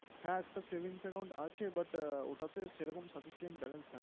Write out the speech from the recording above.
হ্যাঁ একটা savings account আছে, but ওটাতে সেরকম sufficient balance থাক